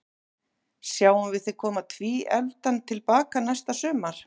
Sjáum við þig koma tvíefldan til baka næsta sumar?